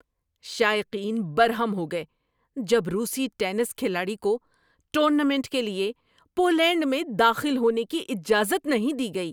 شائقین برہم ہو گئے جب روسی ٹینس کھلاڑی کو ٹورنامنٹ کے لیے پولینڈ میں داخل ہونے کی اجازت نہیں دی گئی۔